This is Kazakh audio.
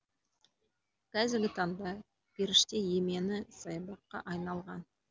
қазіргі таңда періште емені саябаққа айналған